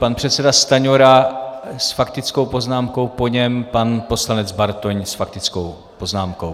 Pan předseda Stanjura s faktickou poznámkou, po něm pan poslanec Bartoň s faktickou poznámkou.